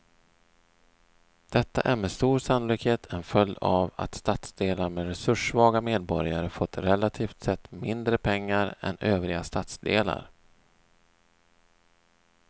Detta är med stor sannolikhet en följd av att stadsdelar med resurssvaga medborgare fått relativt sett mindre pengar än övriga stadsdelar.